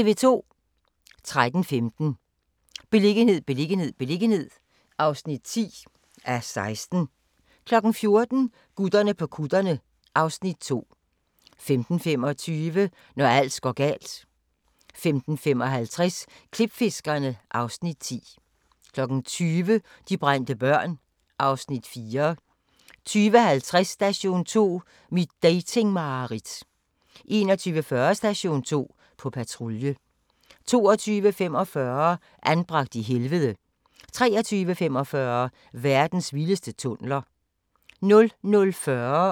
13:15: Beliggenhed, beliggenhed, beliggenhed (10:16) 14:00: Gutterne på kutterne (Afs. 2) 15:25: Når alt går galt 15:55: Klipfiskerne (Afs. 10) 20:00: De brændte børn (Afs. 4) 20:50: Station 2: Mit dating-mareridt 21:40: Station 2: På patrulje 22:45: Anbragt i helvede 23:45: Verdens vildeste tunneler 00:40: Grænsepatruljen